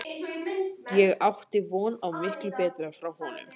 Ég átti von á miklu betra frá honum.